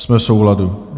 Jsme v souladu.